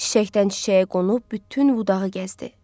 Çiçəkdən çiçəyə qonub bütün budağı gəzdi.